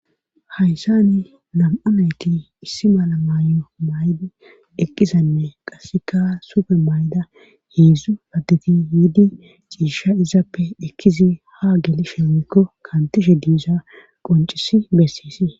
Hayssani nam7anayti issi mala mayo may7di eqqisanne qasseka sufe may7da heedzdzu paddeti yiidi ciisha izappe ekkizi ha gelishe weykko kantishe diiza qoncisi bessis.